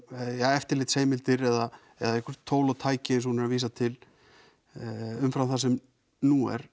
eftirlitsheimildir eða einhver tól og tæki eins og hún er að vísa til umfram það sem nú er